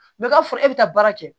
Mɛ ka fɔ e bɛ taa baara kɛ